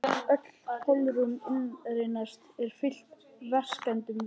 Öll holrúm inneyrans eru fyllt vessakenndum vökvum.